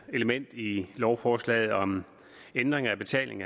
element i lovforslaget om ændring af betaling